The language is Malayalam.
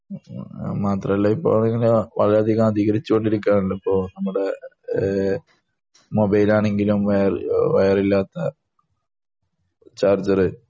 മാത്രമല്ല ഇപ്പൊ ആണെങ്കിൽ വളരെയധികം അധികരിച്ചു കൊണ്ടിരിക്കേണല്ലോ ഇപ്പൊ നമ്മുടെ ആഹ് മൊബൈൽ ആണെങ്കിലും വൈറില്ലാത്ത ചാർജർ